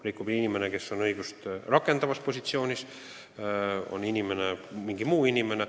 Rikub inimene, kes on seadust rakendavas ametis, ja rikub mingi muu inimene.